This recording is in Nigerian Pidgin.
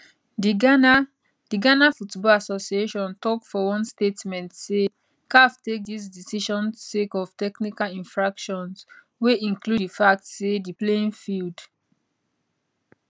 dighana dighana football associationtok for one statement say caf take dis decision sake of technical infractions wey include di fact say di playing field